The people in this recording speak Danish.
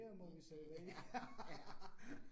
I det, ja, ja